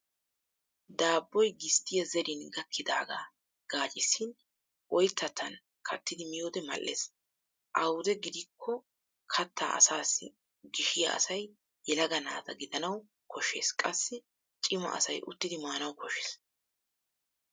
Daabboy gisttiya zerin gakkidaagaa gaaccissin oyittattan kattidi miyode mal'es. Awude gidikko kattaa asaassi gishiya asay yelaga naata gidanawu koshshes qassi cima asay uttidi maanawu koshshes.